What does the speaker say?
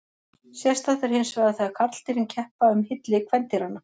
Sérstakt er hinsvegar þegar karldýrin keppa um hylli kvendýranna.